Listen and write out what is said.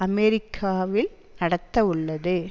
அமெரிக்காவில் நடத்தவுள்ளது